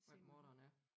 Hvem morderen er